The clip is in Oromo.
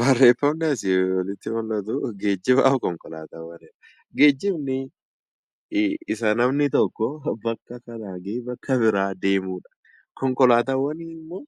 Barreeffamni asii olitti mul'atu geejjibaa fi konkolaataawwani dha. Geejjibni isa namni tokko bakka kanaa ka'ee bakka biraa deemuu dha. Konkolaataawwan immoo